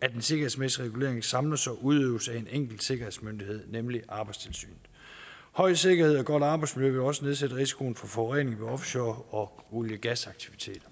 at den sikkerhedsmæssige regulering samles og udøves af en enkelt sikkerhedsmyndighed nemlig arbejdstilsynet høj sikkerhed og godt arbejdsmiljø vil også nedsætte risikoen for forurening ved offshore og olie gasaktiviteter